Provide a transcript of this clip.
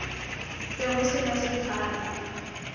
be go se na sethala